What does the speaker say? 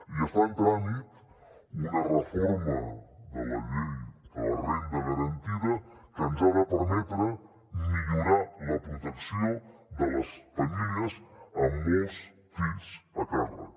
i està en tràmit una reforma de la llei de la renda garantida que ens ha de permetre millorar la protecció de les famílies amb molts fills a càrrec